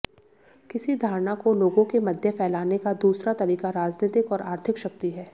किसी धारणा को लोगों के मध्य फैलाने का दूसरा तरीक़ा राजनीतिक और आर्थिक शक्ति है